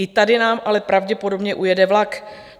I tady nám ale pravděpodobně ujede vlak.